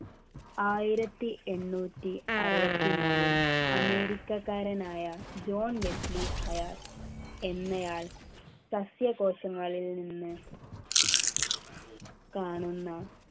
ആയിരത്തിഎണ്ണൂറ്റി അറുപത്തി മൂന്നിൽ അമേരിക്കക്കാരനായ ജോൺ ബെറ്റ് ലീ ഹയാൽ എന്നയാൾ സസ്യകോശങ്ങളിൽ നിന്ന് കാണുന്ന